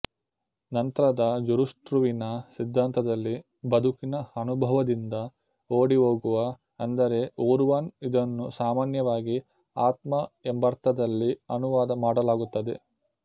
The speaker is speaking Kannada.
ನಂತರದ ಜುರುಷ್ಟ್ರುವಿನ ಸಿದ್ದಾಂತದಲ್ಲಿ ಬದುಕಿನ ಅನುಭವದಿಂದ ಓಡಿ ಹೋಗುವ ಅಂದರೆ ಉರ್ವಾನ್ ಇದನ್ನು ಸಾಮಾನ್ಯವಾಗಿ ಆತ್ಮ ಎಂಬರ್ಥದಲ್ಲಿ ಅನುವಾದ ಮಾಡಲಾಗುತ್ತದೆ